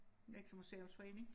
Nexø museums forening